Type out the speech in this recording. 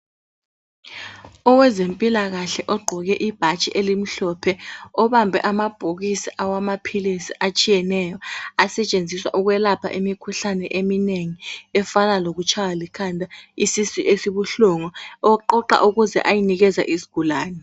Owezempilakahle ogqoke ibhatshi elimhlophe obambe amabhokisi awamaphilisi atshiyeneyo asetshenziswa ukwelapha imikhuhlane eminengi efana lokutshaywa likhanda isisu esibuhlungu oqoqa ukuze ayenikeza isigulane.